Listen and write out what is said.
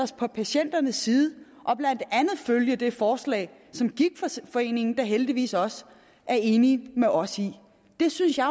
sig på patienternes side og blandt andet følge det forslag som gigtforeningen da heldigvis også er enig med os i det synes jeg